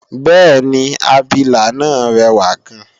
bẹ́ẹ̀ni, abilà náà rẹwà gan